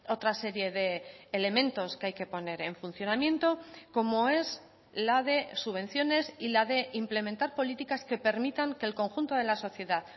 otra serie de elementos que hay que poner en funcionamiento como es la de subvenciones y la de implementar políticas que permitan que el conjunto de la sociedad